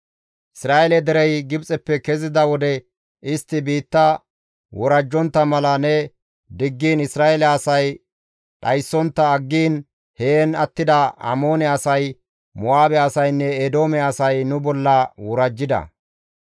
«Isra7eele derey Gibxeppe kezida wode istti biitta worajjontta mala ne diggiin Isra7eele asay dhayssontta aggiin heen attida Amoone asay, Mo7aabe asaynne Eedoome asay nu bolla worajjida.